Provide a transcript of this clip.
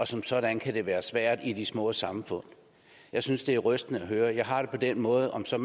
som sådan kan være svært i de små samfund jeg synes det er rystende at høre jeg har det på den måde at om så